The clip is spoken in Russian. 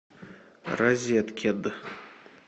розеткед